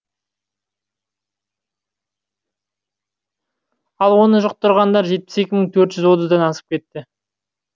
ал оны жұқтырғандар жетпіс екі мың төрт жүз отыздан асып кетті